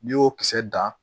N'i y'o kisɛ dan